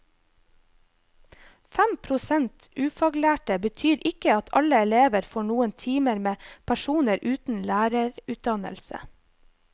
Fem prosent ufaglærte betyr ikke at alle elever får noen timer med personer uten lærerutdannelse.